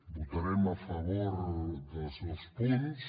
votarem a favor dels dos punts